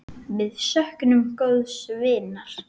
Við söknum góðs vinar.